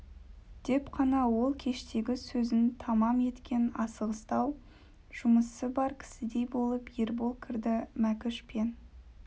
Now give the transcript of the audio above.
деп қана ол кештегі сөзін тамам еткен асығыстау жұмысы бар кісідей болып ербол кірді мәкіш пен